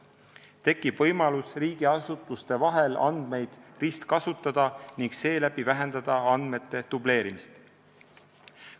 Tekib võimalus riigiasutuste vahel andmeid ristkasutada ning seeläbi vähendada andmete dubleerimist.